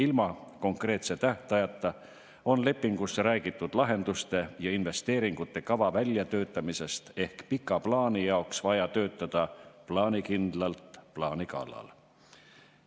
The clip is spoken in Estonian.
Ilma konkreetse tähtajata on lepingus räägitud lahenduste ja investeeringute kava väljatöötamisest ehk siis pika plaani jaoks on vaja töötada plaanikindlalt plaani kallal.